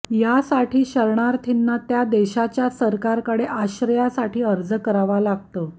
यासाठी शरणार्थींना त्या देशाच्या सरकारकडे आश्रयासाठी अर्ज करावा लागतो